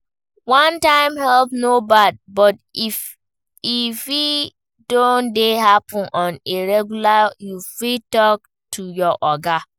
One time help no bad, but if e don dey happen on a regular you fit talk to your oga